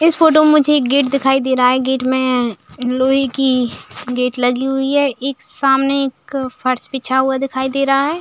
इस फोटो में मुझे एक गेट दिखाई दे रहा है। गेट में लोहे की गेट लगी हुयी है एक सामने एक फर्श बिछा हुआ दिखाई दे रहा है।